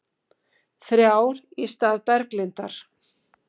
Þrjár í stað Berglindar